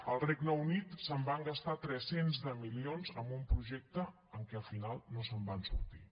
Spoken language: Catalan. al regne unit se’n van gastar tres cents de milions amb un projecte que al final no se’n van sortir